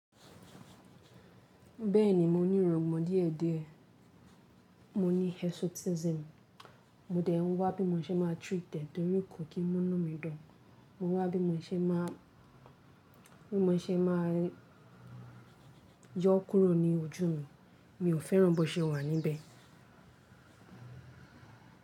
Bẹ́ẹ̀ni mo ní ìrungbon diẹ̀die, mo ní hesotism, mo dẹ̀ n wá bí mo ṣe máa treat ẹ̀ torí kò kí múnú mi dun, mo wá bí mo ṣe máa, bí mo ṣe máa yọ ọ́ kúrò ní ojú mi, mi ò fẹ́ràn bó ṣe wà níbẹ̀.